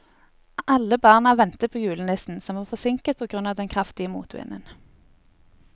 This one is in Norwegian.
Alle barna ventet på julenissen, som var forsinket på grunn av den kraftige motvinden.